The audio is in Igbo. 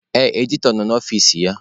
Ee, Editọ nọ n'ọfici ya.